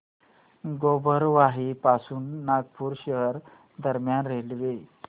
गोबरवाही पासून नागपूर शहर दरम्यान रेल्वे